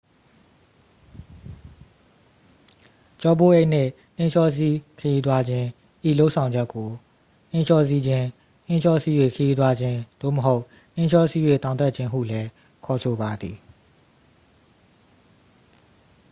ကျောပိုးအိတ်နှင့် နှင်းလျှောစီး ခရီးသွားခြင်း ဤလုပ်ဆောင်ချက်ကို နှင်းလျှောစီးခြင်း နှင်းလျှောစီး၍ ခရီးသွားခြင်း သို့မဟုတ် နှင်းလျှောစီး၍ တောင်တက်ခြင်း ဟုလည်း ခေါ်ဆိုပါသည်